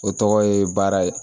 O tɔgɔ ye baara ye